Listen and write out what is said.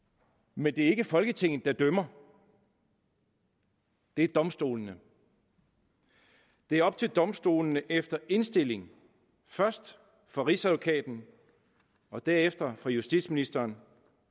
men det er ikke folketinget der dømmer det er domstolene det er op til domstolene efter indstilling først fra rigsadvokaten og derefter fra justitsministeren